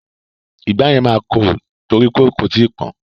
Ìgbá yẹn máa korò nítorí kò tíì pọ́n.